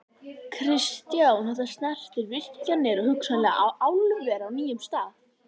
Kristján: Þetta snertir virkjanir og hugsanlega álver á nýjum stað?